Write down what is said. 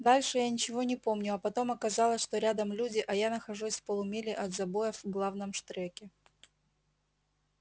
дальше я ничего не помню а потом оказалось что рядом люди а я нахожусь в полумиле от забоя в главном штреке